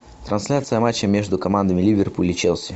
трансляция матча между командами ливерпуль и челси